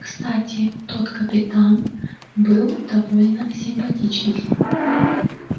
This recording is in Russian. кстати тот капитан был довольно симпатичный